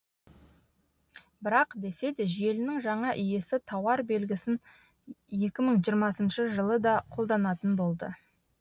бірақ десе де желінің жаңа иесі тауар белгісін екі мың жиырмасыншы жылы да қолданатын болды